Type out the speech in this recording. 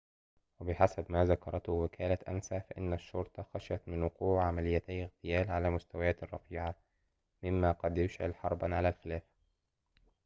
وبحسب ما ذكرته وكالة أنسا فإن الشّرطة خشيت من وقوع عمليّتي اغتيال على مستويات رفيعة ممّا قد يشعل حرباً على الخلافة